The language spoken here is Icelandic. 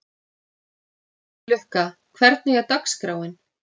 Lukka, hvernig er dagskráin?